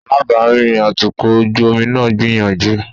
Alábàárìn atukọ̀ ojú omi náà ń gbìyànjú.